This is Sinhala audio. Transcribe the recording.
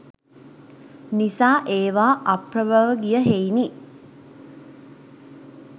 නිසා ඒවා අප්‍රභව ගිය හෙයිනි.